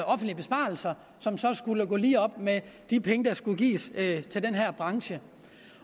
offentlige besparelser som så skulle gå lige op med de penge der skulle gives til den her branche